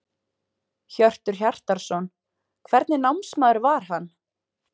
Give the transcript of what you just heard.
Hjörtur Hjartarson: Hvernig námsmaður var hann?